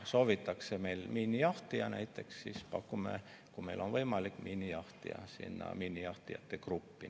Kui soovitakse meilt näiteks miinijahtijat, siis pakume, kui meil on võimalik, miinijahtijat näiteks sinna miinijahtijate gruppi.